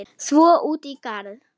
Svo út í garð.